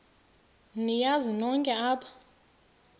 niyazi nonk apha